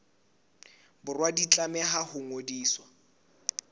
borwa di tlameha ho ngodiswa